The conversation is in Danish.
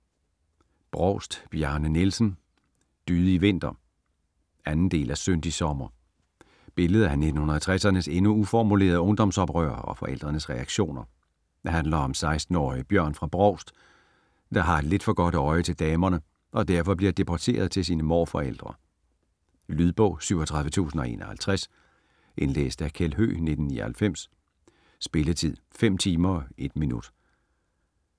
Brovst, Bjarne Nielsen: Dydig vinter 2. del af Syndig sommer. Billede af 1960'ernes endnu uformulerede ungdomsoprør og forældrenes reaktioner. Handler om 16-årige Bjørn fra Brovst, der har et lidt for godt øje til damerne og derfor bliver deporteret til sine morforældre. Lydbog 37051 Indlæst af Kjeld Høegh, 1999. Spilletid: 5 timer, 1 minutter.